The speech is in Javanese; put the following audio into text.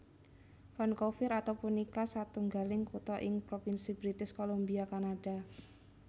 Vancouver atau punika satunggaling kutha ing Propinsi British Columbia Kanada